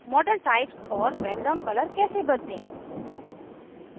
model types और background color कैसे बदलें